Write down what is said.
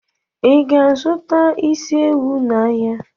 Ị ga-azụta isi ewu n'ahịa?